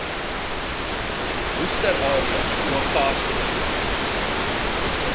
worcester area uagasti